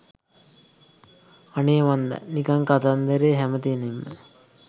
අනේ මන්දා නිකන් කතන්දරේ හැම තැනින්ම